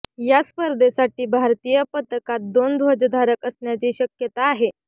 या स्पर्धेसाठी भारतीय पथकात दोन ध्वजधारक असण्याची शक्यता आहे